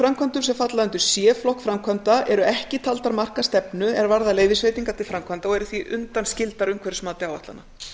framkvæmdum sem falla undir c flokk framkvæmda eru ekki taldar marka stefnu er varðar leyfisveitingar til framkvæmda og eru því undanskildar umhverfismati áætlana